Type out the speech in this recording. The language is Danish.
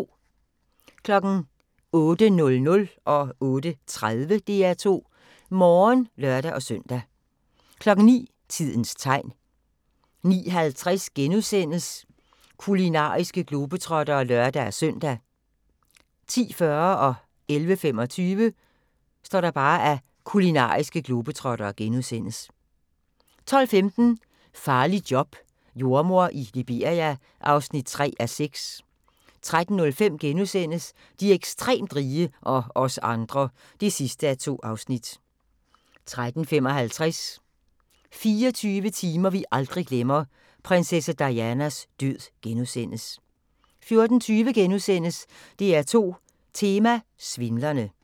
08:00: DR2 Morgen (lør-søn) 08:30: DR2 Morgen (lør-søn) 09:00: Tidens tegn 09:50: Kulinariske globetrottere *(lør-søn) 10:40: Kulinariske globetrottere * 11:25: Kulinariske globetrottere * 12:15: Farligt job – jordemor i Liberia (3:6) 13:05: De ekstremt rige – og os andre (2:2)* 13:55: 24 timer vi aldrig glemmer: Prinsesse Dianas død * 14:20: DR2 Tema: Svindlerne *